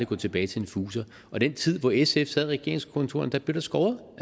gå tilbage til en fuser i den tid hvor sf sad i regeringskontorerne blev der skåret